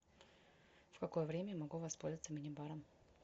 в какое время я могу воспользоваться мини баром